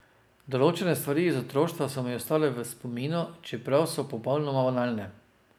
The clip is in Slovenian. Določene stvari iz otroštva so mi ostale v spominu, čeprav so popolnoma banalne.